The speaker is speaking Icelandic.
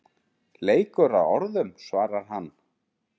Leikur að orðum svarar hann.